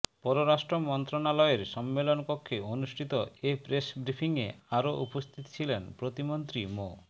পররাষ্ট্র মন্ত্রণালয়ের সম্মেলন কক্ষে অনুষ্ঠিত এ প্রেস ব্রিফিংয়ে আরও উপস্থিত ছিলেন প্রতিমন্ত্রী মো